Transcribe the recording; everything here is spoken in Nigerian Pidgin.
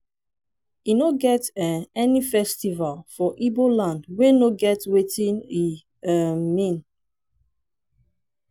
e no get um any festival for ibo land wey no get wetin e um mean.